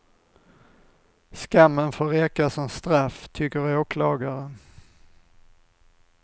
Skammen får räcka som straff, tycker åklagaren.